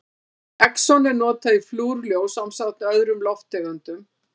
Xenon er notað í flúrljós ásamt öðrum lofttegundum.